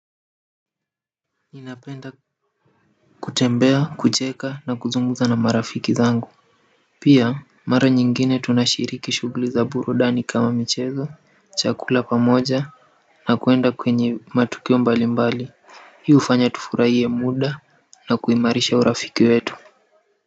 Ninapenda kutembea kucheka na kuzungumza na marafiki zangu pia mara nyingine tunashiriki shughuli za burudani kama michezo chakula pamoja na kwenda kwenye matukio mbali mbali hii hufanya tufurahie muda na kuimarisha urafiki wetu.